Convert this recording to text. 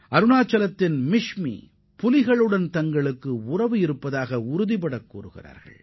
அருணாச்சலப் பிரதேசத்தின் மிஷ்மி பழங்குடியின மக்கள் புலிகளுடன் நட்புறவோடு திகழ்கின்றனர்